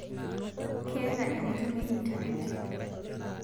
Keeta enitumie internet